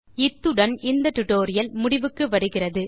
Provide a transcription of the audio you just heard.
இத்துடன் இந்த டியூட்டோரியல் நிறைவடைகிறது